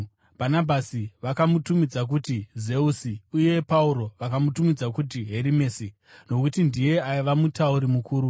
Bhanabhasi vakamutumidza kuti Zeusi, uye Pauro vakamutumidza kuti Herimesi nokuti ndiye aiva mutauri mukuru.